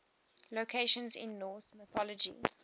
locations in norse mythology